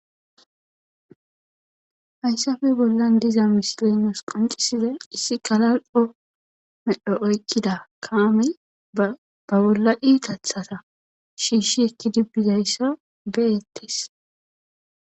hayssafe bollan diza misilezan qonciside issi galal'o medho oykkida kaami ba bolla itathaza shiishi ekkidi bbizayssa be'ettes